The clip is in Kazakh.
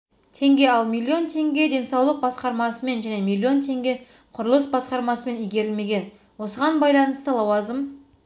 теңге ал миллион теңге денсаулық басқармасымен және миллион теңге құрылыс басқармасымен игерілмеген осыған байланысты лауазым